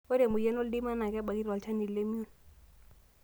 ORE emoyian oldeima naa kebaki tolchani lemion